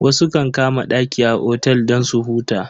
Wasu kan kama daki a otel don su huta.